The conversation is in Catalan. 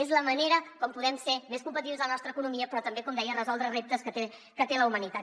és la manera com podem ser més competitius en la nostra economia però també com deia resoldre reptes que té la humanitat